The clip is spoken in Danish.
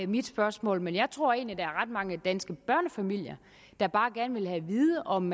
mit spørgsmål men jeg tror egentlig at der er ret mange danske børnefamilier der bare gerne vil have at vide om